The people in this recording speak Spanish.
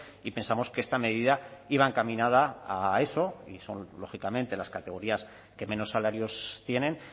y pensamos que esta medida iba encaminada a eso y son lógicamente las categorías que menos salarios tienen